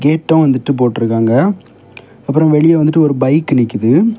கேட்டும் வந்துட்டு போட்டு இருக்காங்க அப்புறமா வெளியே வந்துட்டு ஒரு பைக் நிக்குது.